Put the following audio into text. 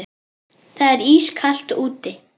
Það er ískalt úti.